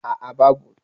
a a babu